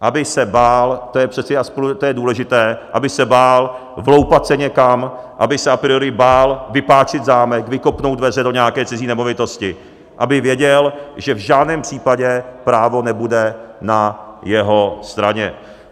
Aby se bál, to je přece důležité, aby se bál vloupat se někam, aby se a priori bál vypáčit zámek, vykopnout dveře do nějaké cizí nemovitosti, aby věděl, že v žádném případě právo nebude na jeho straně.